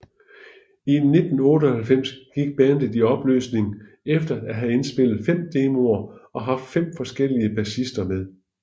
I 1998 gik bandet i opløsning efter at have indspillet fem demoer og haft fem forskellige bassister med